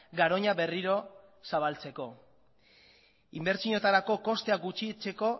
garoña berriro zabaltzeko inbertsioetarako kostea gutxitzeko